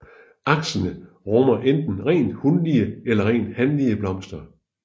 Aksene rummer enten rent hunlige eller rent hanlige blomster